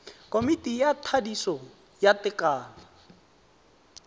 komiti ya thadiso ya tekano